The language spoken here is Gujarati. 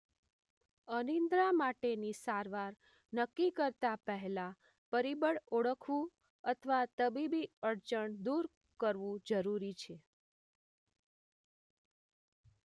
અનિદ્રા માટેની સારવાર નક્કી કરતા પહેલા પરિબળ ઓળખવુ અથવા તબીબી અડચણ દૂર કરવુ જરૂરી